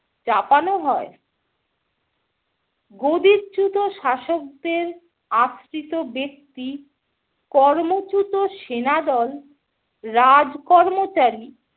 চাপানো হয়। গদিচ্যুত শাসকদের আশ্রিত ব্যাক্তি, কর্মচ্যুত সেনাদল, রাজকর্মচারী